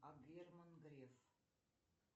а герман греф